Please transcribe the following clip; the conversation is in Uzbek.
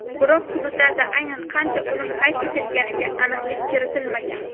Biroq hududlarda aynan qancha o‘lim qayd etilganiga aniqlik kiritilmagan.